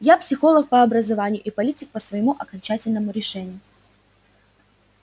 я психолог по образованию и политик по своему окончательному решению